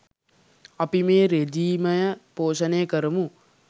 අපි මේ රෙජීමය පෝෂණය කරමු